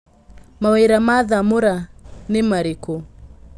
Mawĩ ra ma Thamũra nĩ marĩ kũ?